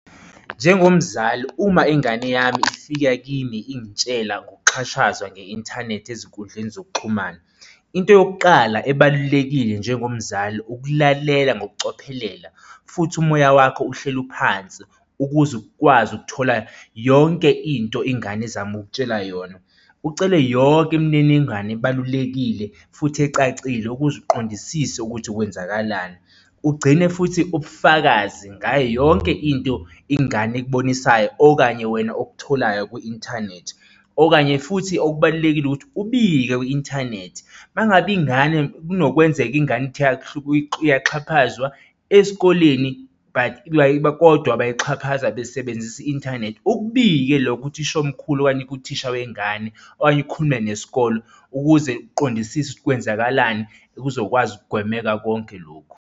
Njengomzali, uma ingane yami ifika kini ingitshela ngokuxhashazwa nge-inthanethi ezinkundleni zokuxhumana, into yokuqala ebalulekile njengomzali, ukulalela ngokucophelela, futhi umoya wakho uhleli uphansi ukuze ukwazi ukuthola yonke into ingane ezama ukukutshela yona. Ucele yonke imininingwane ebalulekile futhi ecacile ukuze iqondisise ukuthi kwenzakalani, ugcine futhi ubufakazi ngayo yonke into ingane ekubonisayo okanye wena okutholayo kwi-inthanethi. Okunye futhi okubalulekile ukuthi ubike kwi-inthanethi uma ngabe ingane kunokwenzeka ingane ithi iyaxhaphazwa esikoleni but kodwa bayayixhaphaza besebenzisa i-inthanethi ukubike lokho kuthisha omkhulu okanye kuthisha wengane okanye akhulume nesikole ukuze uqondisise ukuthi kwenzakalani kuzokwazi ukugwemeka konke lokhu.